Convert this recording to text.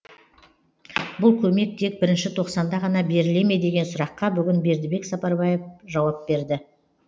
бұл көмек тек і тоқсанда ғана беріле ме деген сұраққа бүгін бердібек сапарбаев жауап берді